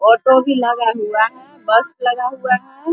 Auto भी लगा हुआ है। बस लगा हुआ है।